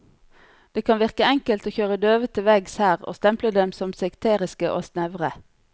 Det kan virke enkelt å kjøre døve til veggs her og stemple dem som sekteriske og snevre.